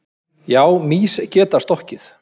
Já, mýs geta stokkið.